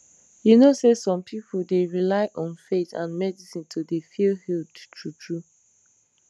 you know say some pipu dey rely on faith and medicine to dey feel healed true true